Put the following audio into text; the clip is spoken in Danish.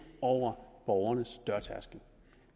over borgernes dørtærskel